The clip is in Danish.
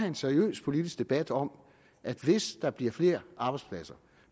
en seriøs politisk debat om at hvis der bliver flere arbejdspladser